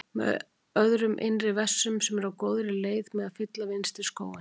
um öðrum innri vessum sem eru á góðri leið með að fylla vinstri skóinn.